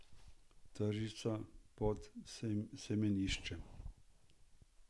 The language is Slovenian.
Tržnica pod Semeniščem.